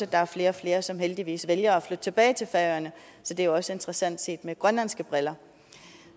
der er flere og flere som heldigvis vælger at flytte tilbage til færøerne så det er også interessant set med grønlandske briller